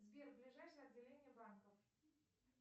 сбер ближайшее отделение банков